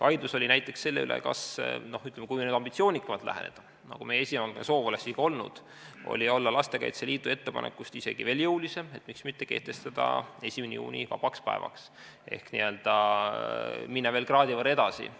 Vaidlus oli näiteks selle üle, kui nüüd ambitsioonikamalt läheneda, nagu meie esialgne soov oleks olnud, et olla Lastekaitse Liidu ettepanekust isegi veel jõulisem ja miks mitte muuta 1. juuni vabaks päevaks ehk n-ö minna veel kraadi võrra edasi.